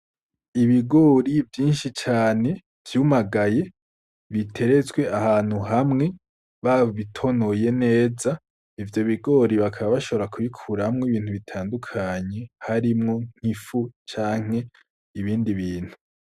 Gitongo ririni cane ririmwo ubusizi uburebure irya me hirya ku mpande hari ibiti birebire na vyo bigizwe n'imikaratusi n'amavuka nk'ikimenyetso yuko ryotongo bashobora kuba bariteguye kubira bazora irimemwo canke bayiteremwo ibiterwa bitandukanye.